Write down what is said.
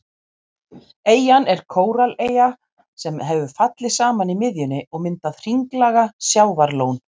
Eyjan er kórallaeyja sem hefur fallið saman í miðjunni og myndað hringlaga sjávarlón.